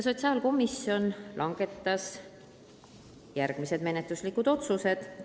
Sotsiaalkomisjon langetas järgmised menetluslikud otsused.